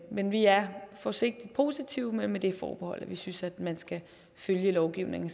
men vi er forsigtigt positive men med det forbehold at vi synes at man skal følge lovgivningen